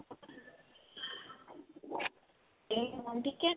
ਤੇ ਹੁਣ ਠੀਕ ਏ